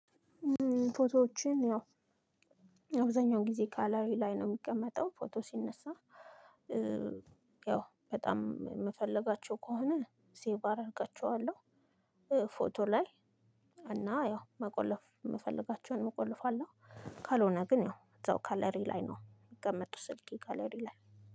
ፎቶዎችን ያው አብዛኛውን ጊዜ ጋለሪ ላይ ነው የሚቀመጠው ፎቶ ሲነሳ። ያው በጣም የምፈልጋቸው ከሆነ ሴቭ አረጋችዋለው ፎቶ ላይ እና ያው መቆለፍ የምፈልጋቸውን እቆልፋለሁ። ካልሆነ ግን ያው እዛው ጋለሪ ላይ ነው የሚቀመጡት ስልኬ ጋለሪ ላይ